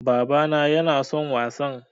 Baba na yana son wasan